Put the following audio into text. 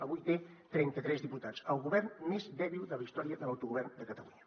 avui té trenta tres diputats el govern més dèbil de la història de l’autogovern de catalunya